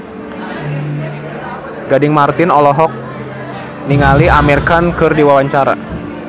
Gading Marten olohok ningali Amir Khan keur diwawancara